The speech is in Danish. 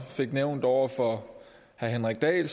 fik nævnt over for herre henrik dahl